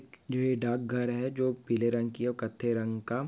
जो ये डाक घर है जो पीले रंग की और कत्थे रंग का--